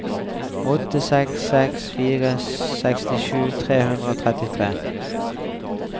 åtte seks seks fire sekstisju tre hundre og trettitre